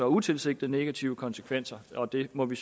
utilsigtede negative konsekvenser og det må vi